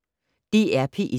DR P1